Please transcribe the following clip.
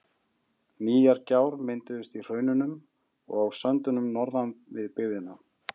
Nýjar gjár mynduðust í hraununum og á söndunum norðan við byggðina.